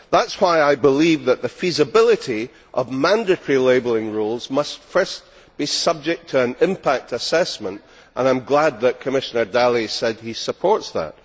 That is why I believe that the feasibility of mandatory labelling rules must first be subject to an impact assessment, and I am glad that Commissioner Dalli said that he supports that.